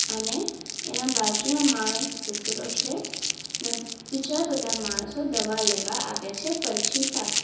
અને એના બાજુમાં માણસ બેસેલો છે ને બીજા બધા માણસો દવા લેવા આવે છે પરછી સાથે.